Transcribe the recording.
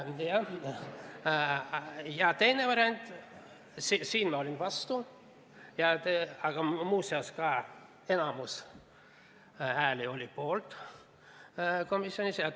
Ma olin selle vastu, aga muuseas enamik hääli oli komisjonis poolt.